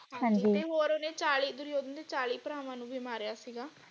ਹਾਂਜੀ ਤੇ ਹੋਰ ਓਹਨੇ ਚਾਲੀ ਦੁਰਯੋਧਨ ਦੇ ਚਾਲੀ ਭਰਾਵਾਂ ਨੂੰ ਵੀ ਮਾਰਿਆ ਸੀਗਾ।